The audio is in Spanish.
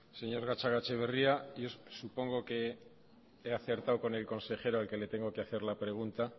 señor gatzagaetxaberria yo supongo que he acertado con el consejero al que le tengo que hacer la pregunta